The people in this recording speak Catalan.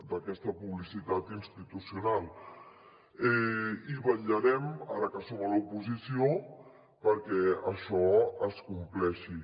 d’aquesta publicitat institucional i vetllarem ara que som a l’oposició perquè això es compleixi